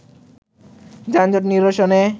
যানজট নিরসনে